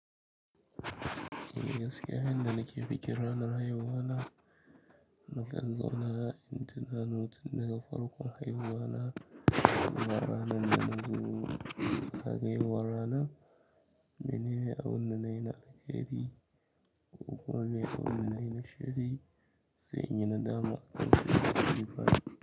Ni gaskiya inda nake bikin ranar haihuwa na, na kallo na, inda na nutse daga farkon haihuwa na, zuwa ranar da na zo daga yawon rana. Menene a wurin da na yi na na alheri ko kuma a nayi abinda nayi na sharri, sai in yi nadama akan cikin siffa.